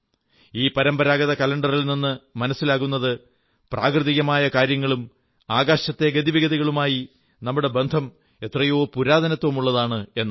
ഈ പരമ്പരാഗത കലണ്ടറിൽ നിന്നു മനസ്സിലാകുന്നത് പ്രാകൃതികമായ കാര്യങ്ങളും ആകാശത്തെ ഗതിവിഗതികളുമായി നമ്മുടെ ബന്ധം എത്രയോ പുരാതനമാണെന്നാണ്